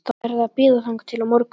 Þið verðið að bíða þangað til á morgun